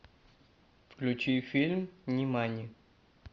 включи фильм нимани